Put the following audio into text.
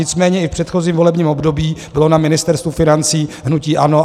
Nicméně i v předchozím volebním období bylo na Ministerstvu financí hnutí ANO.